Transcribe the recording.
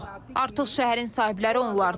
Artıq şəhərin sahibləri onlardır.